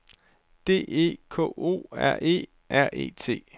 D E K O R E R E T